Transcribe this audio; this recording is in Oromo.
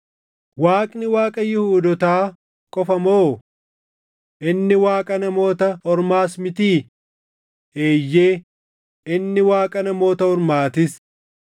Waaqni Waaqa Yihuudootaa qofa moo? Inni Waaqa Namoota Ormaas mitii? Eeyyee, inni Waaqa Namoota Ormaatis;